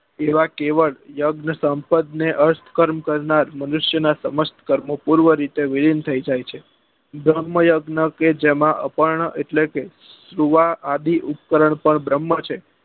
એવા કેવળ યજ્ઞ સંપદ ને અષ્ટ કર્મ કરનાર મનુષ્ય નાં સર્વ કર્મો પૂર્વ રીતે વીરેન થઇ જાય છે ભ્રમ યજ્ઞ કે જેમાં અપર્ણ એટલે કે સુવા આદિ ઉપકરણ પણ ભ્રમ છે